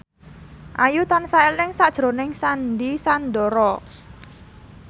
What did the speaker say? Ayu tansah eling sakjroning Sandy Sandoro